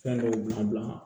Fɛn dɔw bila